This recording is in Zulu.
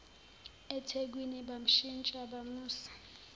ethekwini bamshintsha bamusa